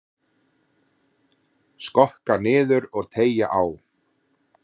Skokka niður og teygja á.